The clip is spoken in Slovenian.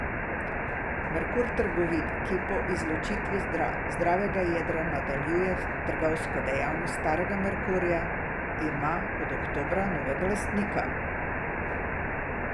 Merkur trgovina, ki po izločitvi zdravega jedra nadaljuje trgovsko dejavnost starega Merkurja, ima od oktobra novega lastnika.